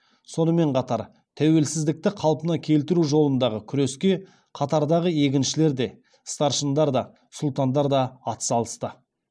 сонымен қатар тәуелсіздікті қалпына келтіру жолындағы күреске қатартағы егіншілер де старшындар да сұлтандар да ат салысты